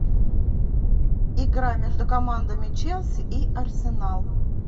игра между командами челси и арсенал